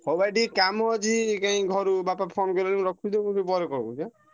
ହଉ ଭାଇ ଟିକେ କାମ ଅଛି ଘରୁ କାଇଁ ବାପା phone କଲେଣି ମୁଁ ରଖୁଛି ତମକୁ ପରେ call କରୁଛି ହାଁ।